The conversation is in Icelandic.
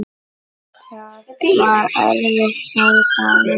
Það var erfitt, segir sagan.